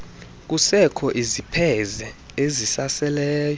kusekho izipheze ezisaseleyo